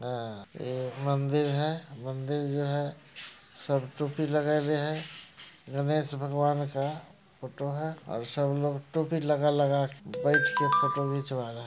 और ये मंदिर हैं मंदिर जो हैं सब टोपी लगैले है| गणेश भगवान का फोटो हैं और सब लोग टोपी लगा - लगा के बैठ के फोटो खिचवा रहा है